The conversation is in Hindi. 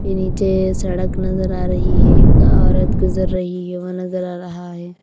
ये नीचे सड़क नजर आ रही है एक औरत गुजर रही है वह नजर आ रहा है।